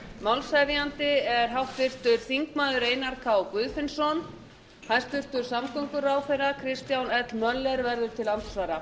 málshefjandi er háttvirtur þingmaður einar k guðfinnsson hæstvirtur samgönguráðherra kristján l möller verður til andsvara